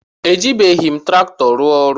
Ejibeghim traktọ rụọ ọrụ.